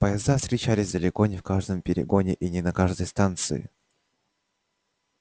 поезда встречались далеко не в каждом перегоне и не на каждой станции